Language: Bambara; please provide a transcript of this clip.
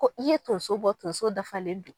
Ko i ye tonso bɔ tonso dafalen don